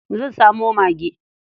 Zan samo mage.